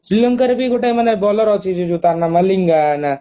ଶ୍ରୀଲଙ୍କାରେ ବି ଗୋଟେ ମାନେ bowler ଅଛି ଟା ନା ମଲିଙ୍ଗଗନା